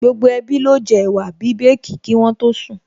Gbogbo ẹbí ló jẹ ẹ̀wà bíbèèkì kí wọ́n tó sùn